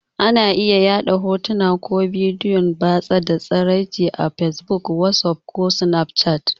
Ana iya yaɗa hotuna ko bidiyon batsa da tsiraici a fesbuk, wasuf ko snafchat.